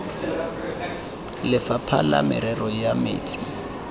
lefapha la merero ya metsi